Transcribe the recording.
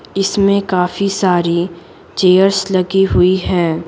इसमें काफी सारी चेयर्स लगी हुई हैं।